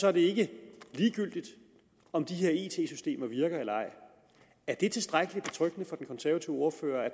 er det ikke ligegyldigt om de her it systemer virker eller ej er det tilstrækkelig betryggende for den konservative ordfører